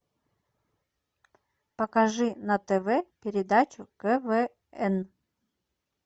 покажи на тв передачу квн